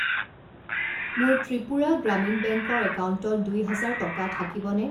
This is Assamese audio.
মোৰ ত্ৰিপুৰা গ্ৰামীণ বেংক ৰ একাউণ্টত দুই হাজাৰ টকা থাকিবনে?